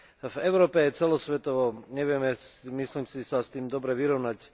V Európe, celosvetovo nevieme, myslím si, sa s tým dobre vyrovnať.